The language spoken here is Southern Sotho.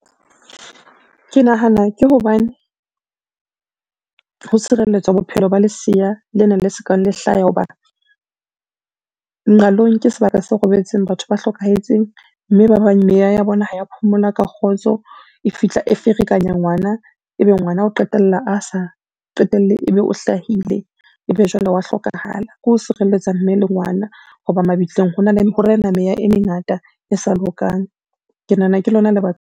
Ke nahana ke hobane, ho tshireletswa bophelo ba lesea lena le sokang le hlaha ho ba, nqalong ke sebaka seo robetseng batho ba hlokahetseng, mme ba bang meya ya bona ha ya phomola ka kgotso e fihla e ferekanya ngwana, ebe ngwana o qetella a sa qetelle ebe o hlahile ebe jwale wa hlokahala, ke ho sireletsa mme le ngwana ho ba mabitleng ho rena meya e mengata e sa lokang. Ke nahana ke lona le baka.